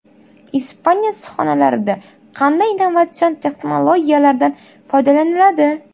Ispaniya issiqxonalarida qanday innovatsion texnologiyalardan foydalaniladi?.